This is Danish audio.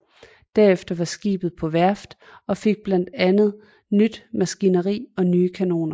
Derefter var skibet på værft og fik blandt andet nyt maskineri og nye kanoner